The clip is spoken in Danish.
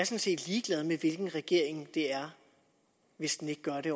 set ligeglad med hvilken regering det er hvis den ikke gør det